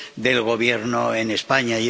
del Gobierno en España.